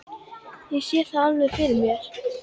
Ég sé það alveg fyrir mér.